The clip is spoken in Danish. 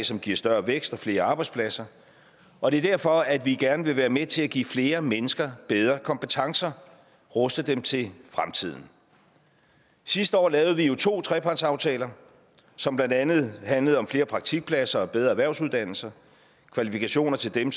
som giver større vækst og flere arbejdspladser og det er derfor at vi gerne vil være med til at give flere mennesker bedre kompetencer og ruste dem til fremtiden sidste år lavede vi jo to trepartsaftaler som blandt andet handlede om flere praktikpladser og bedre erhvervsuddannelser kvalifikationer til dem